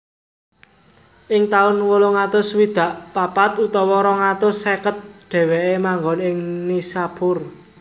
Ing taun wolung atus swidak papat utawa rong atus seket dhèwèké manggon ing Nishapur